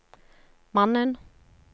mannen